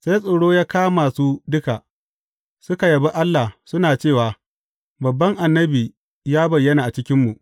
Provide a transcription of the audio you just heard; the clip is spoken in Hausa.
Sai tsoro ya kama su duka, suka yabi Allah, suna cewa, Babban annabi ya bayyana a cikinmu.